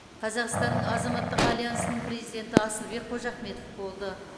қазақстанның азаматтық альянсының президенті асылбек қожахметов болды